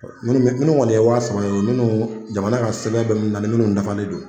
Minnu minnu kɔni ye wa saba ye o minnu jamana ka sɛbɛn bɛ minnu na minnu dafalen do.